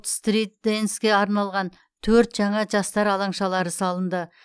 стрит дэнске арналған төрт жаңа жастар алаңшалары салынды